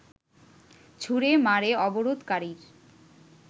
ছুড়ে মারে অবরোধকারীর